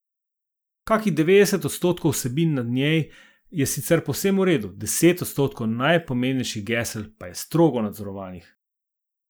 Kakih devetdeset odstotkov vsebin na njej je sicer povsem v redu, deset odstotkov najpomembnejših gesel pa je strogo nadzorovanih.